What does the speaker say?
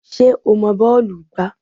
Ṣé o mọ bọ́ọ̀lù gbá?